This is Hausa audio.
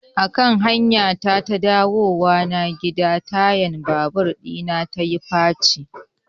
Akan hanyata ta dawowa gida tayan babur ɗina yayi faci.